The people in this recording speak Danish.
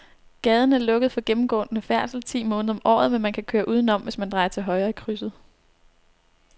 Gaden er lukket for gennemgående færdsel ti måneder om året, men man kan køre udenom, hvis man drejer til højre i krydset.